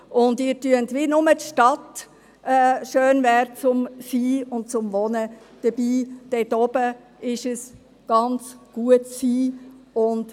Sie tun so, als ob nur die Stadt schön zum Sein und zum Wohnen wäre, dort oben ist es jedoch ganz gut zu sein.